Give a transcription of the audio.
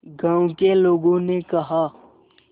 गांव के लोगों ने कहा